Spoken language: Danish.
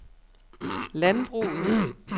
landbruget